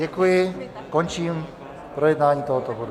Děkuji, končím projednávání tohoto bodu.